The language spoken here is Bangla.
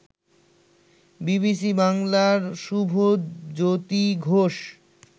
বিবিসি বাংলার শুভজ্যোতি ঘোষ